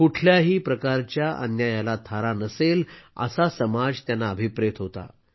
कुठल्याही प्रकारच्या अन्यायाला थारा नसेल असा समाज त्यांना अभिप्रेत होता